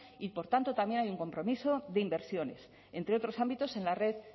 y por tanto también hay un compromiso de inversiones entre otros ámbitos en la red